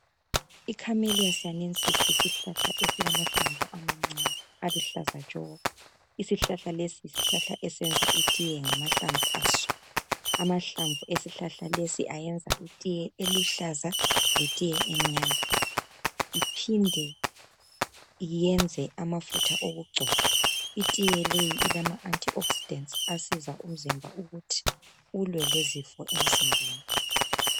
ICamelicious sinesis yisihlahla esilamahlamvu amancane aluhlaza tshoko! Isihlahla lesi yisihlahla esenza itiye ngamahlamvu aso. Amahlamvu esihlahla lesi ayenza itiye eluhlaza, letiye emnyama. lphinde yenze amafutha okugcoba. ltiye leyi ilama anti oxydent , asiza umzimba ukuthi ulwe lezifo emzimbeni.